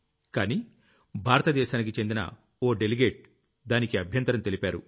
కానీ భారతీ దేశానికి చెందిన ఓ డెలిగేట్ దానికి అభ్యంతరం తెలిపారు